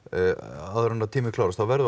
áður en að tíminn klárast þá verðum